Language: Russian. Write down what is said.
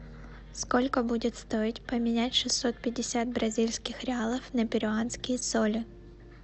сколько будет стоить поменять шестьсот пятьдесят бразильских реалов на перуанские соли